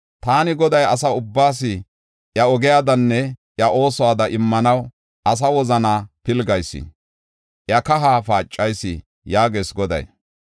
Taani Goday, asa ubbaas iya ogiyadanne iya oosuwada immanaw, asa wozanaa pilgayis; iya kahaa paacayis” yaagees Goday.